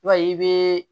Wa i bɛ